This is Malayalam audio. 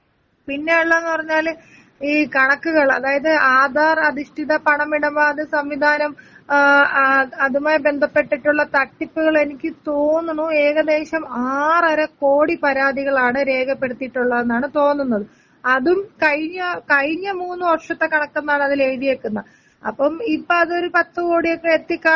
പിന്നെ ഉള്ളെന്നു പറഞ്ഞാല് ഈ കണക്കുകൾ അതായത് ആധാർ അധിഷ്ഠിത പണമിടപാട് സംവിധാനം ഏ അതുമായി ബന്ധപ്പെട്ടിട്ടുള്ള തട്ടിപ്പുകൾ എനിക്ക് തോന്നുണു ഏകദേശം ആറര കോടി പരാതികളാണ് രേഖപ്പെടുത്തിയിട്ടുള്ളതാണ് തോന്നുന്നത് അതും കഴിഞ്ഞ കഴിഞ്ഞ മൂന്ന് വർഷത്തെ കണക്കെന്നാണ് അതില് എഴുതിയേക്കുന്നെ അപ്പം ഇപ്പതൊരു പത്ത് കോടിയൊക്കെ എത്തിക്കാണണം.